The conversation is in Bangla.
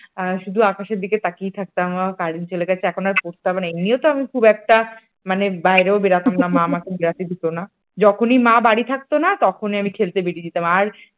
শুধু আকাশের দিকে তাকিয়ে থাকতাম কারেন্ট চলে গেছে এখন আর পড়তে হবে না এমনিও তো আমি খুব একটা মানে আমি বাইরে বেরোতাম না, মা আমাকে বের হতে দিত না, যখনই মা বাড়ি থাকত না তখনি আমি খেলতে বেড়ে যেতাম, আর